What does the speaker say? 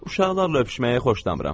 Uşaqlarla öpüşməyi xoşlamıram.